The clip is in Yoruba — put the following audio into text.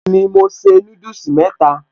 Bẹ́ẹ̀ni mo se núdùsì mẹ́ta